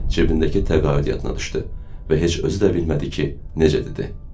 Cebindəki təqaüd yadına düşdü və heç özü də bilmədi ki, necə dedi.